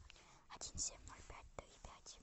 один семь ноль пять три пять